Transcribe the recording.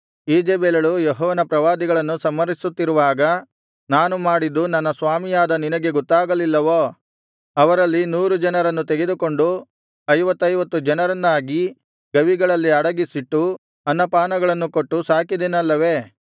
ಈಜೆಬೆಲಳು ಯೆಹೋವನ ಪ್ರವಾದಿಗಳನ್ನು ಸಂಹರಿಸುತ್ತಿರುವಾಗ ನಾನು ಮಾಡಿದ್ದು ನನ್ನ ಸ್ವಾಮಿಯಾದ ನಿನಗೆ ಗೊತ್ತಾಗಲಿಲ್ಲವೋ ಅವರಲ್ಲಿ ನೂರು ಜನರನ್ನು ತೆಗೆದುಕೊಂಡು ಐವತ್ತೈವತ್ತು ಜನರನ್ನಾಗಿ ಗವಿಗಳಲ್ಲಿ ಅಡಗಿಸಿಟ್ಟು ಅನ್ನ ಪಾನಗಳನ್ನು ಕೊಟ್ಟು ಸಾಕಿದೆನಲ್ಲವೇ